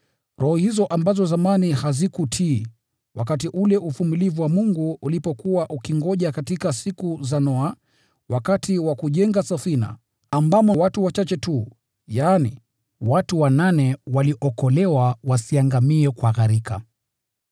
roho hizo ambazo zamani hazikutii, wakati ule uvumilivu wa Mungu ulipokuwa ukingoja katika siku za Noa, wakati wa kujenga safina, ambamo watu wachache tu, yaani watu wanane, waliokolewa ili wasiangamie kwa gharika.